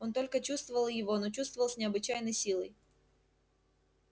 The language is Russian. он только чувствовал его но чувствовал с необычайной силой